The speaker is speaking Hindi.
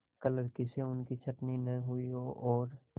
क्लर्की से उनकी छँटनी न हुई हो और